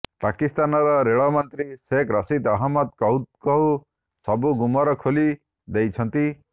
ପାକିସ୍ତାନର ରେଳ ମନ୍ତ୍ରୀ ସେଖ ରସିଦ୍ ଅହମଦ କହୁ କହୁ ସବୁ ଗୁମର ଖୋଲି ଦେଇଛନ୍ତି